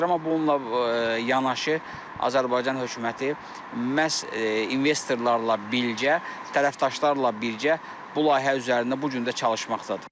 Amma bununla yanaşı Azərbaycan hökuməti məhz investorlarla birgə, tərəfdaşlarla birgə bu layihə üzərində bu gün də çalışmaqdadır.